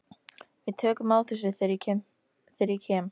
Við tökum á þessu þegar ég kem.